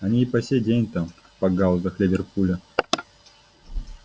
они и по сей день там в пакгаузах ливерпуля